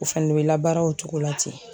O fɛnɛ bɛ labaara o cogo la ten